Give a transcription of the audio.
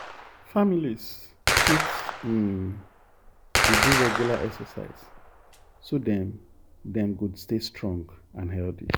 families fit um dey do regular exercise so dem dem go stay strong and healthy.